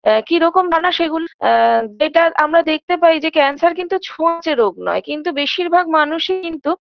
একিরকম ধারণা সেগুলো আ better আমরা দেখতে পাই যে cancer কিন্তু ছোঁয়াচে রোগ নয় কিন্তু বেশিরভাগ মানুষই কিন্তু